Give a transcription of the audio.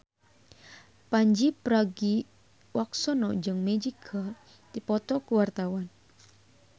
Pandji Pragiwaksono jeung Magic keur dipoto ku wartawan